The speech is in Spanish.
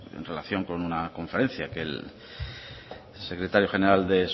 en relación con una conferencia que el secretario general de